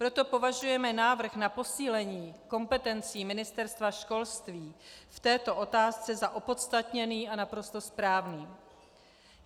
Proto považujeme návrh na posílení kompetencí Ministerstva školství v této otázce za opodstatněný a naprosto správný.